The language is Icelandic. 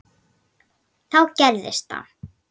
Þá gerðist það.